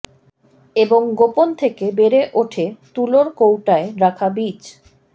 এবং গোপন থেকে বেড়ে ওঠে তুলোর কৌটায় রাখা বীজ